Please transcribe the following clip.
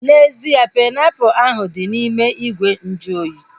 N'ezie, painiapulu ahu dị n'ime ìgwè nju oyi